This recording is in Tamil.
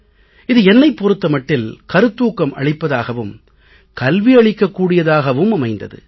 இது என்னைப் பொறுத்த மட்டில் கருத்தூக்கம் அளிப்பதாகவும் கல்வி அளிக்கக் கூடியதாகவும் அமைந்தது